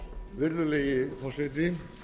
virðulegi forseti